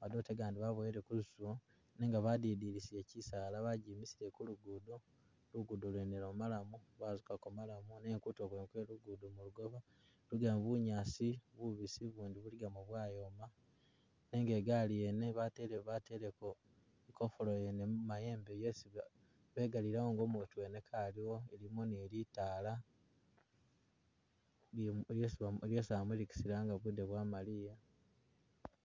madote gandi babowele ku lusubo nenga badidilisiye kyisaala bagimisile ku lugudo, lugudo lwene lwa maram, bazukako maram nenga kutulo kwene kwe lugudo kuligako bunyaasi bubisi ubundi buligamo bwayoma, nenga igali yene batele- bateleko i kofulo yene mu mayembe yesi begalilawo nga u mutu wene kaliwo, mulimo ni litala lyesi amulikisa nga budde bwamaliye